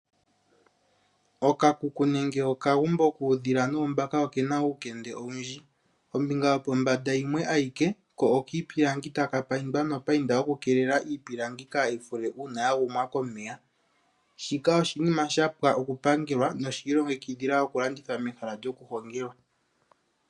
Okakuku nenge okagumbo kuudhila noombaka oke na uukende owundji. Ombinga yopombanda yimwe ayike ko okiipilangi e taka payindwa nopainda okukeelela iipilangi kaayi fule uuna ya gumwa komeya. Shika oshinima shapwa okupangelwa noshi ilongekidhila okulandithwa mehala lyokuhongelwa.